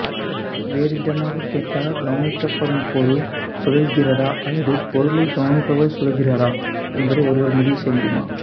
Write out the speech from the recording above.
வேறு விதமாகக் கேட்டால் கவனிக்கப்படும் பொருள் சுழல்கிறதா அல்லது பொருளைக் கவனிப்பவர் சுழல்கிறாரா என்பதை ஒருவர் முடிவு செய்ய முடியுமா